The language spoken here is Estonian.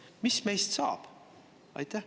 Mis meist saab?